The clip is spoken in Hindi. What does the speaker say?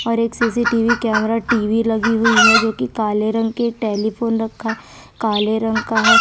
और एक सी_सी_टी _वी कैमरा टी_वी लगी हुई है जोकि काले रंग के टेलीफोन रखा है काले रंग का हैं।